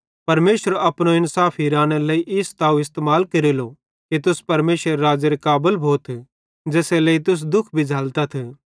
परमेशर अपनो इन्साफ हिरानेरे लेइ ई स्ताव इस्तेमाल केरेलो कि तुस परमेशरेरे राज़्ज़ेरे काबल भोथ ज़ेसेरे लेइ तुस दुःख भी झ़ैलतथ